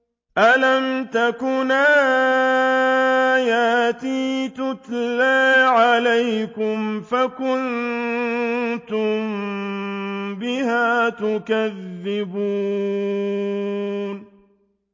أَلَمْ تَكُنْ آيَاتِي تُتْلَىٰ عَلَيْكُمْ فَكُنتُم بِهَا تُكَذِّبُونَ